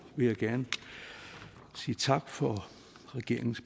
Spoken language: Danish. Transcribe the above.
vil jeg gerne sige tak for regeringens